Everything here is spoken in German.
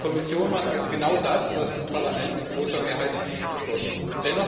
Die Kommission macht also genau das, was das Parlament mit großer Mehrheit beschlossen hat.